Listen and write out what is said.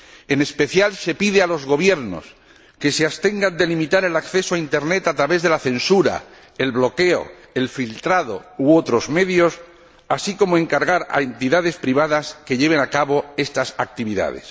En especial, se pide a los gobiernos que se abstengan de limitar el acceso a Internet a través de la censura, el bloqueo, el filtrado u otros medios, así como de encargar a entidades privadas que lleven a cabo estas actividades.